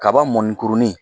Kaba mɔnikurunin